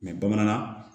bamanankan